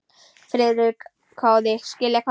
Friðrik hváði: Skilja hvað?